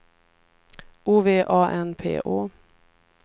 O V A N P Å